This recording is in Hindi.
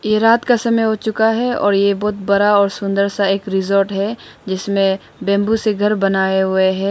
यह रात का समय हो चुका है और यह बहुत बड़ा और सुंदर सा एक रिसॉर्ट है। जिसमें बंबू से घर बनाए हुए हैं।